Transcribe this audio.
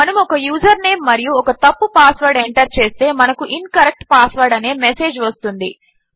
మనము ఒక user name మరియు ఒక తప్పు పాస్వర్డ్ ఎంటర్ చేస్తే మనకు ఇన్కరెక్ట్ పాస్వర్డ్ అనే ఒక మెసేజ్ వస్తుంది